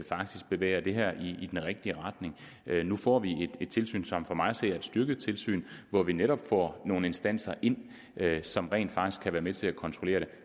faktisk bevæger det her i den rigtige retning nu får vi et tilsyn som for mig at se er et styrket tilsyn hvor vi netop får nogle instanser ind som rent faktisk kan være med til at kontrollere det